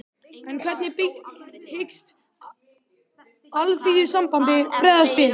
En hvernig hyggst Alþýðusambandið bregðast við?